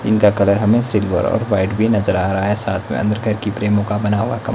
जिनका कलर हमे सिल्वर और वाइट भी नजर आ रहा है साथ में हमें बना हुआ कम--